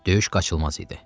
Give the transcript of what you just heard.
Döyüş qaçılmaz idi.